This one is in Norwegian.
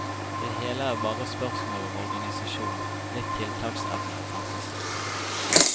Det hele er bare spørsmål om organisasjon, litt tiltaksevne og fantasi.